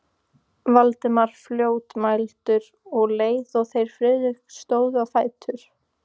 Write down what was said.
Valdimar fljótmæltur, um leið og þeir Friðrik stóðu á fætur.